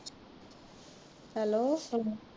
Hello.